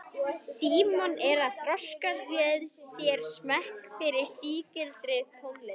Símon er að þroska með sér smekk fyrir sígildri tónlist.